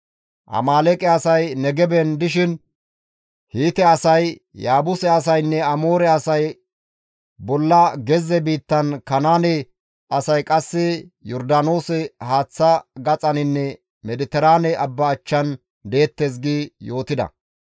Amaaleeqe asay Negeben dishin, Hiite asay, Yaabuse asaynne Amoore asay bolla gezze biittan Kanaane asay qasse Yordaanoose haaththa gaxaninne Mediteraane abba achchan deettes» gi yootida.